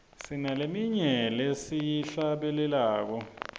sinaleminye lesiyihlabelelako